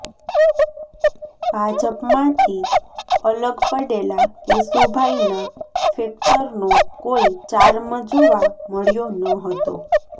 ભાજપમાંથી અલગ પડેલા કેશુભાઇના ફેક્ટરનો કોઇ ચાર્મ જોવા મળ્યો નહતો